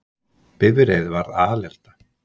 Bifreið varð alelda